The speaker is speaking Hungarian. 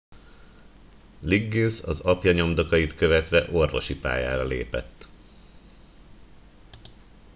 liggins az apja nyomdokait követve orvosi pályára lépett